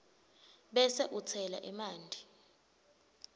bese utsela emanti